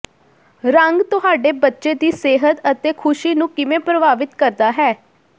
ਰੰਗ ਤੁਹਾਡੇ ਬੱਚੇ ਦੀ ਸਿਹਤ ਅਤੇ ਖੁਸ਼ੀ ਨੂੰ ਕਿਵੇਂ ਪ੍ਰਭਾਵਿਤ ਕਰਦਾ ਹੈ